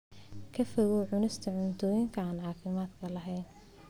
Ka fogow cunista cuntooyinka aan caafimaadka lahayn.